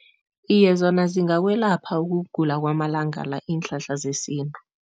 Iye, zona zingakwelapha ukugula kwamalanga la iinhlahla zesintu.